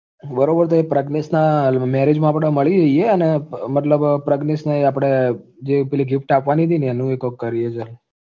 બરોબર તો પ્રજ્ઞેશના marriage માં આપડે મળી લઈએ અને મતલબ પ્રજ્ઞેશને આપડે જે પેલી gift આપવાની હતી ને એનુંય કોક કરીએ ચલ